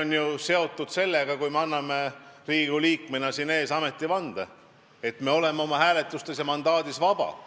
on ju seotud sellega, et me anname Riigikogu liikmena siin saali ees ametivande, me oleme oma hääletustes vabad, meil on vaba mandaat.